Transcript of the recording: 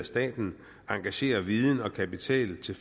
staten engagerer viden og kapital til